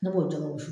Ne b'o jɛgɛ wusu